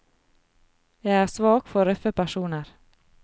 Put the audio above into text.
Jeg er svak for røffe personer.